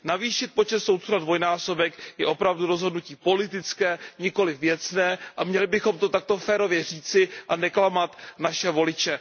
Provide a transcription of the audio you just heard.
Navýšit počet soudců na dvojnásobek je opravdu rozhodnutí politické, nikoliv věcné, a měli bychom to takto férově říci a neklamat naše voliče.